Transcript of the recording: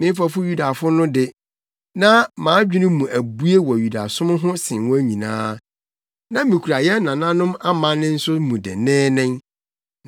Me mfɛfo Yudafo no de, na mʼadwene mu abue wɔ Yudasom ho sen wɔn nyinaa. Na mikura yɛn nananom amanne nso mu denneennen.